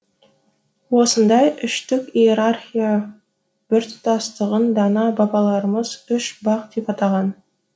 осындай үштік иерархия біртұтастығын дана бабаларымыз үш бақ деп атаған